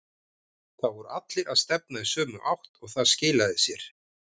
Það voru allir að stefna í sömu átt og það skilaði sér.